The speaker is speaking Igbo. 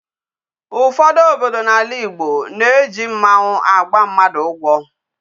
Ụfọdụ obodo n'ala Igbo na-eji mmanwụ agba mmadụ ụgwọ.